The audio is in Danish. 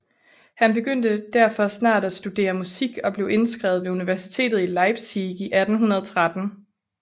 Han begyndte derfor snart at studere musik og blev indskrevet ved universitetet i Leipzig i 1831